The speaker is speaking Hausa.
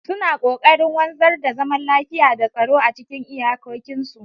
Suna kokarin wanzar da zaman lafiya da tsaro a cikin iyakokinsu.